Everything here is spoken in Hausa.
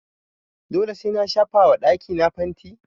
Dole sai na shafa wa dakí na fanti?